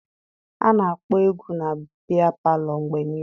A na-akpọ egwu na biya palọ mgbe niile.